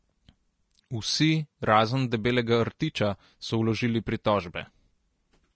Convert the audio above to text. Vsi, razen Debelega rtiča, so vložili pritožbe.